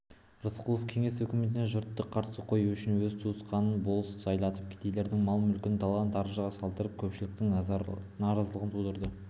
рысқұлов кеңес өкіметіне жұртты қарсы қою үшін өз туысқанын болыс сайлатып кедейлердің мал-мүлкін талан-таражға салдырып көпшіліктің наразылығын тудырды